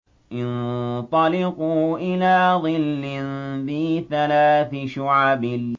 انطَلِقُوا إِلَىٰ ظِلٍّ ذِي ثَلَاثِ شُعَبٍ